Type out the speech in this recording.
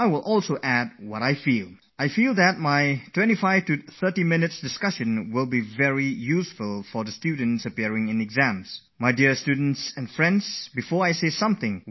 I will add my views on some examrelated issues about which I feel strongly